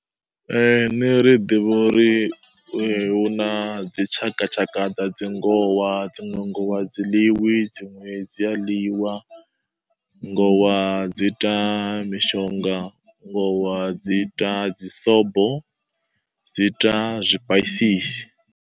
Ee, ṋne ri ḓivha uri eh hu na dzitshakatshaka dza dzi ngowa, dziṅwe ngowa a dzi ḽiwi, dziṅwe dzi a ḽiwa. Ngowa dzi ita mishonga, ngowa dzi ita dzisobo, dzi ita zwipaisisi.